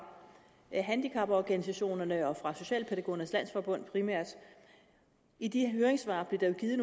handicaporganisationerne og fra socialpædagogernes landsforbund i de høringssvar blev der jo givet